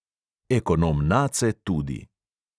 Ekonom nace tudi.